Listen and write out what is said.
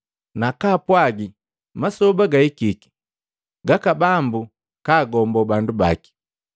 nukupwaga masoba gahikiki gaka Bambu kagombo bandu baki.”